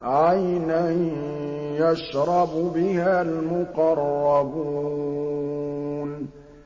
عَيْنًا يَشْرَبُ بِهَا الْمُقَرَّبُونَ